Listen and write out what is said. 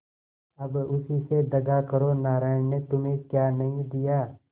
अब उसी से दगा करो नारायण ने तुम्हें क्या नहीं दिया